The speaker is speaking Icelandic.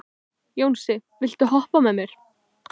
Jónsi, viltu hoppa með mér?